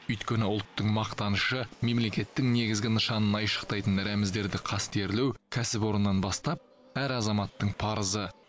өйткені ұлттың мақтанышы мемлекеттің негізгі нышанын айшықтайтын рәміздерді қастерлеу кәсіпорыннан бастап әр азаматтың парызы